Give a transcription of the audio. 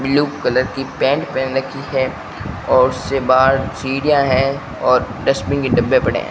Blue colour की pant पहन रखी है और उससे बाहर सीढ़ियां है और डस्टबिन के डब्बे पड़े हैं।